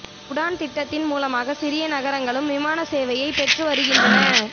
உடான் திட்டம் மூலமாக சிறிய நகரங்களும் விமான சேவையை பெற்று வருகின்றன